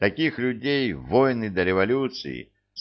таких людей войны до революции